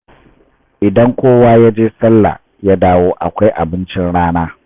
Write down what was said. Idan kowa ya je salla ya dawo akwai abincin rana.